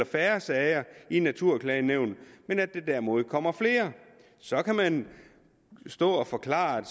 færre sager i naturklagenævnet men at der derimod kommer flere så kan man stå og forklare at